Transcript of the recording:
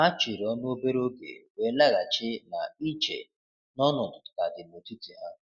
Ha chịrị ọnụ obere oge, wee laghachi na iche n’ọnọdụ ka dị n’etiti ha.